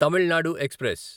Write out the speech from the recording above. Tamil Nadu express